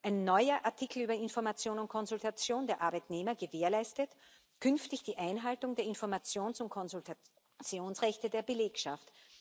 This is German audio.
Ein neuer Artikel über Information und Konsultation der Arbeitnehmer gewährleistet künftig die Einhaltung der Informations und Konsultationsrechte der Belegschaft.